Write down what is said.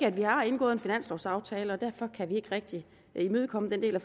at vi har indgået en finanslovaftale ikke derfor kan vi ikke rigtig imødekomme den del af